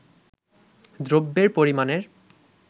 দ্রব্যের পরিমাণের